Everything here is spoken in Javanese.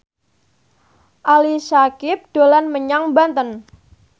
Ali Syakieb dolan menyang Banten